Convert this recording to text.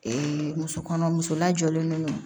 muso kɔnɔ muso lajɔlen don